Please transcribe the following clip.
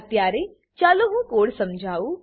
અત્યારે ચાલો હું કોડ સમજાવું